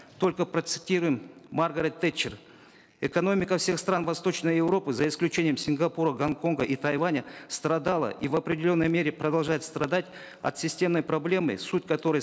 только процитируем маргарет тетчер экономика всех стран восточной европы за исключением сингапура гонконга и тайваня страдала и в определенной мере продолжает страдать от системной проблемы суть которой